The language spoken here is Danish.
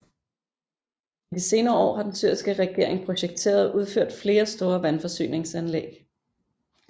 I de senere år har den syriske regering projekteret og udført flere store vandforsyningsanlæg